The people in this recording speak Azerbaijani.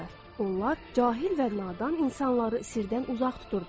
Onlar cahil və nadan insanları sirdən uzaq tuturdular.